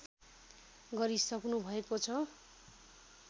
गरिसक्नु भएको छ